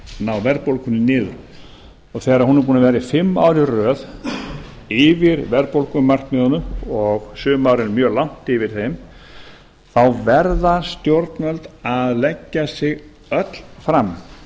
ná verðbólgunni niður þegar hún er búin að vera fimm ár í röð yfir verðbólgumarkmiðunum og sumar eru mjög langt yfir þeim þá verða stjórnvöld að leggja sig öll fram